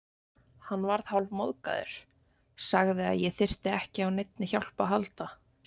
Hann varð hálfmóðgaður, sagði að ég þyrfti ekki á neinni hjálp að halda.